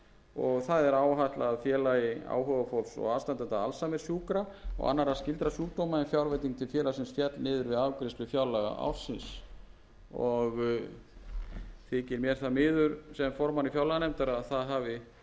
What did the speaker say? og það er fjallað félagi áhugafólks og aðstandenda alzheimerssjúkra og annarra skyldra sjúkdóma en fjárveiting til félagsins féll niður við afgreiðslu fjárlaga ársins og þykir mér það miður sem formanni fjárlaganefndar að það hafi komið